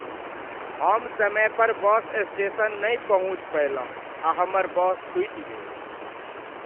हम समय पर बस स्टेशन नहि पहुँच पयलहुँ आ हमर बस छुटि गेल।